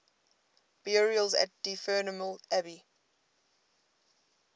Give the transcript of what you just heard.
burials at dunfermline abbey